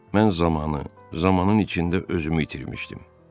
Mən zamanı, zamanın içində özümü itirmişdim.